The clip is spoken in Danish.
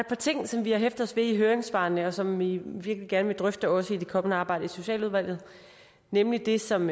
par ting som vi har hæftet os ved i høringssvarene og som vi virkelig gerne vil drøfte også i det kommende arbejde i socialudvalget nemlig det som